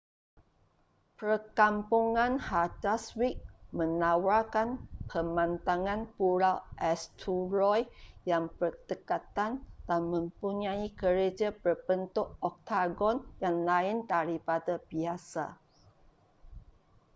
perkampungan haldarsvík menawarkan pemandangan pulau eysturoy yang berdekatan dan mempunyai gereja berbentuk oktagon yang lain daripada biasa